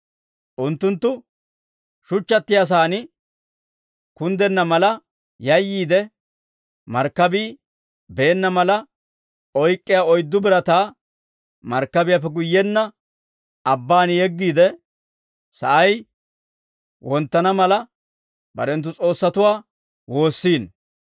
Unttunttu shuchchattiyaasan kunddenna mala yayyiide, markkabii beenna mala oyk'k'iyaa oyddu birataa markkabiyaappe guyyenna abbaan yeggiide, sa'ay wonttana mala, barenttu s'oossatuwaa woossiino.